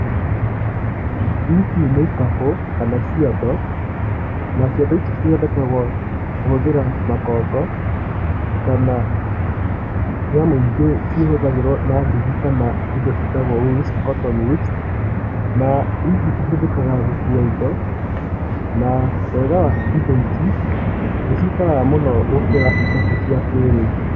Ici nĩ ikabũ kana ciondo na ciondo ici cithondekagwo kũhũthĩra makongo kana nyamũingĩ cĩhũthagĩrwo na ndigi kana indo ciĩtagwo wools cotton wools. Na ici cihũthikaga gũkua indo na wega wa indo ici nĩciikaraga mũno gũkĩra ikabũ cia kĩĩrĩu.